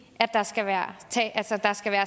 at der skal være